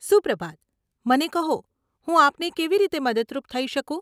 સુપ્રભાત, મને કહો, હું આપને કેવી રીતે મદદરૂપ થઇ શકું?